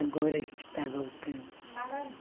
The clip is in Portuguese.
Agora que está voltando.